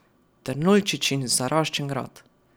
Trnuljčičin zaraščen grad.